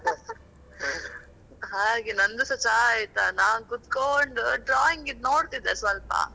ಹಾಗೆ ನಂದುಸಾ ಚಾ ಆಯ್ತಾ ನಾನು ಕುತ್ಕೊಂಡು drawing ದು ನೋಡ್ತಿದ್ದೆ ಸ್ವಲ್ಪ.